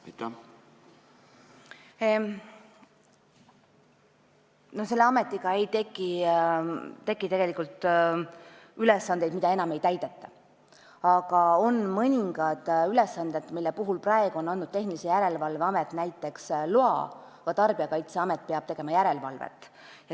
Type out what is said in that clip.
Selle uue ametiga ei teki tegelikult ülesandeid, mida enam ei täideta, aga on mõningad ülesanded, mille puhul on seni andnud loa Tehnilise Järelevalve Amet, aga Tarbijakaitseamet on pidanud tegema järelevalvet.